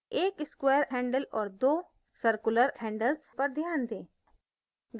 1 square handle और 2 circular handles पर ध्यान दें